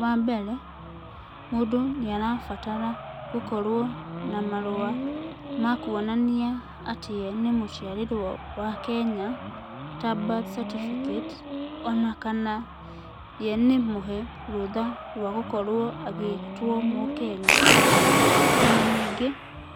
Wa mbere, mũndũ nĩ arabatara gũkorwo na marũa ma kuonania atĩ ye nĩ mũciarĩrwo wa Kenya ta birth certificate ona kana ye nĩ mũhe rũtha rwa gũkorwo agĩtwo Mũkenya. Ona ningĩ,